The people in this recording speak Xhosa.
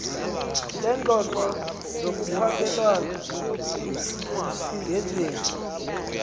leengxoxo zokuphakelana ngezimvo